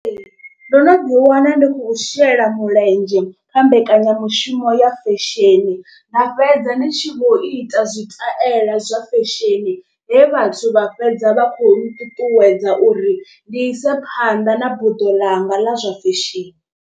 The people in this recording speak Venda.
Ndo no ḓi wana ndi khou shela mulenzhe kha mbekanya mushumo ya fesheni nda fhedza ndi tshi vho ita zwitaela zwa fesheni. He vhathu vha fhedza vha khou nṱuṱuwedza uri ndi ise phanḓa na buḓo ḽanga ḽa zwa fesheni.